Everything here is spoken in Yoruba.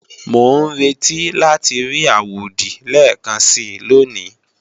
Mò ń retí láti rí àwòdì lẹ́ẹ̀kansi lóní